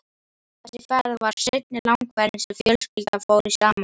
Þessi ferð var seinni langferðin sem fjölskyldan fór í saman.